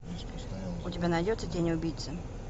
у тебя найдется тень убийцы